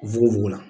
Fukofugo la